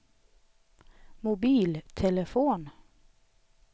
mobiltelefon